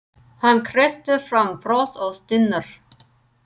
Hann kreistir fram bros og stynur.